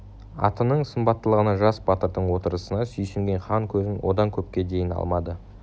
атының сымбаттылығына жас батырдың отырысына сүйсінген хан көзін одан көпке дейін алмады